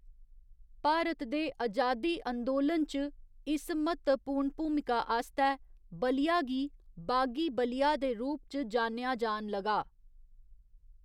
भारत दे अजादी अंदोलन च इस म्हत्तवपूर्ण भूमिका आस्तै बलिया गी 'बागी बलिया' दे रूप च जानेआ जान लगा।